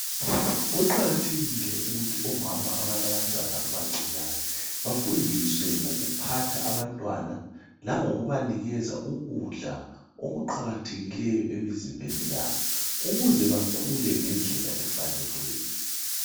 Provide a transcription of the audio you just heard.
Kuqakathekile ukuthi omama abalabantwana abancinyane bafundiswe ngoku phatha abantwana lango kubanikeza ukudla okuqakathekileyo emzimbeni yabo ukuze bakhule ngendlela efaneleyo.